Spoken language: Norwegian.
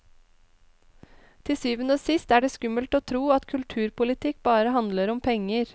Til syvende og sist er det skummelt å tro at kulturpolitikk bare handler om penger.